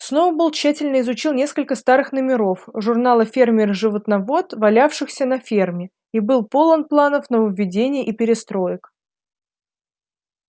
сноуболл тщательно изучил несколько старых номеров журнала фермер и животновод валявшихся на ферме и был полон планов нововведений и перестроек